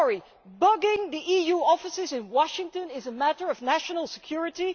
Is bugging the EU offices in Washington a matter of national security?